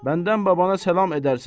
Məndən babana salam edərsən.